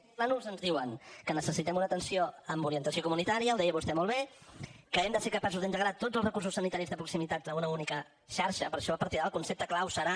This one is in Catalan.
i aquests plànols ens diuen que necessitem una atenció amb orientació comunitària ho deia vostè molt bé que hem de ser capaços d’integrar tots els recursos sanitaris de proximitat a una única xarxa per això a partir d’ara el concepte clau serà